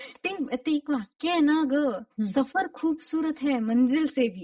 ते ते एक वाक्य आहे ना ग सफर खूबसूरत है मंजिलसे भी.